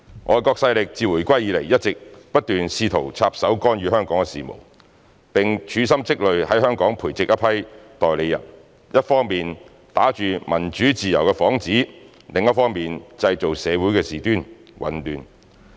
外國勢力自回歸以來一直不斷試圖插手干預香港事務，並處心積慮在港培植一批代理人，一方面打着民主自由的幌子，另一方面製造社會事端、混亂。